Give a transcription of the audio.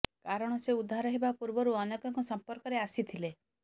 କାରଣ ସେ ଉଦ୍ଧାର ହେବା ପୂର୍ବରୁ ଅନେକଙ୍କ ସମ୍ପର୍କରେ ଆସିଥିଲେ